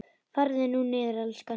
Farðu nú niður, elskan.